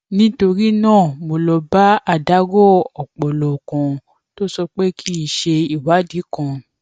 nítorí náà mo lọ bá adarọ ọpọlọ kan tó sọ pé kí n ṣe ìwádìí kan